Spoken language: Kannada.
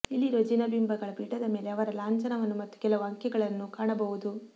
ಇಲ್ಲಿರುವ ಜಿನಬಿಂಬಗಳ ಪೀಠದ ಮೇಲೆ ಅವರ ಲಾಂಛನವನ್ನು ಮತ್ತು ಕೆಲವು ಅಂಕೆಗಳನ್ನು ಕಾಣಬಹುದು